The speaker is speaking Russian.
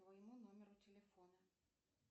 моему номеру телефона